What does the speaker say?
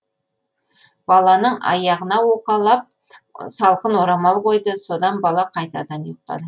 баланың аяғына уқалап салқын орамал қойды содан бала қайтадан ұйықтады